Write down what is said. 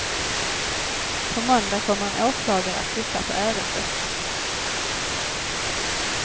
På måndag kommer en åklagare att titta på ärendet.